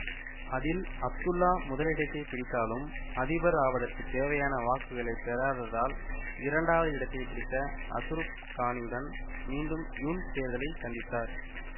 அதில் அப்துல்லா முதலிடத்தை பிடித்தாலும் அதிபர் ஆவதற்கு தேவையான வாக்குகளை பெறாததால் இரண்டாவது இடத்தை பிடித்த அசுர கானியுடன் மீண்டும் யூன் தேர்தலை சந்தித்தார்